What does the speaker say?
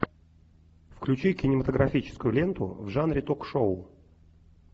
включи кинематографическую ленту в жанре ток шоу